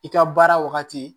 I ka baara wagati